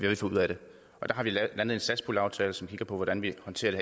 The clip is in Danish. vi får ud af det og der har vi landet en satspuljeaftale som kigger på hvordan vi håndterer det